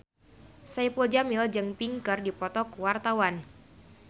Saipul Jamil jeung Pink keur dipoto ku wartawan